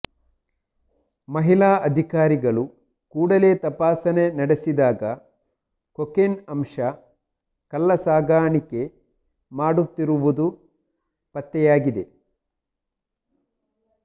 ಮಹಿಳಾ ಅಧಿಕಾರಿಗಳು ಕೂಡಲೇ ತಪಾಸಣೆ ನಡೆಸಿದಾಗ ಕೊಕೆನ್ ಅಂಶ ಕಳ್ಳ ಸಾಗಣೆೆ ಮಾಡುತ್ತಿರುವುದು ಪತ್ತೆಂುುಾಗಿದೆ